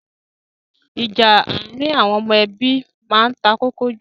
Ìjà àárín àwon ọmọ nínú ebí ma n takókó jù